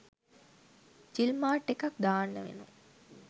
ජිල් mart එකක් දාන්න වෙනවා.